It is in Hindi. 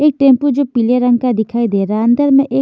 एक टेंपू जो पीले रंग का दिखाई दे रहा अंदर में एक--